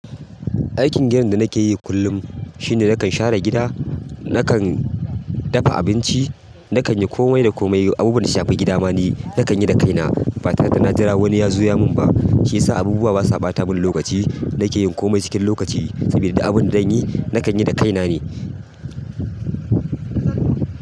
Aikin gidan da nake yi kullum shine nakan share gida, nakan dafa abinci, nakan yi kome da kome. Abu da na shafi gida ma ni nakan yi da kaina. Batare dana jira wani ya zo ya mun ba, shi ya sa abubuwa basa ɓata mun lokaci. Nake yin kome cikin lokaci sabida duk abin da zan yi, nakan yi da kaina ne.